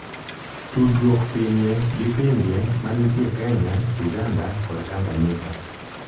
tudruok pinye gi pinje manitie Kenya, Uganda kod Tanganyika,